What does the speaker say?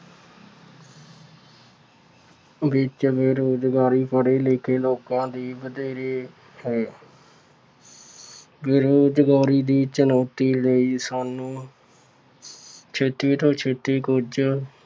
ਵਿੱਚ ਬੇਰੁਜ਼ਗਾਰੀ ਪੜ੍ਹੇ ਲਿਖੇ ਲੋਕਾਂ ਦੀ ਵਧੇਰੇ ਹੈ। ਬੇਰੁਜ਼ਗਾਰੀ ਦੀ ਚੁਣੌਤੀ ਲਈ ਸਾਨੂੰ ਛੇਤੀ ਤੋਂ ਛੇਤੀ ਕੁੱਝ